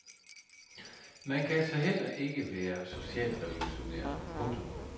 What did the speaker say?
Man kan altså heller ikke være socialrevolutionær. punktum